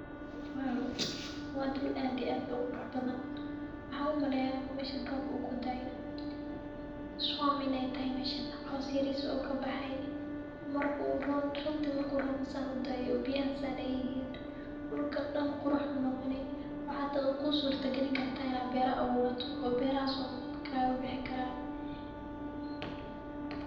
wow! waa dul aad iyo aad u qurux badan waxaan u maleeyahay inuu meeshan roobka uu ku da-ay swamp inaay taahay messha coows yariis u kabahaay runti marku roob san u da-ay uu biyahaan saan aay yihin ,duulka daan qurux u noqoni , waxa hata kusurta gelin karta inaa beera abuurato oo beerahas uun kagabihi karaan .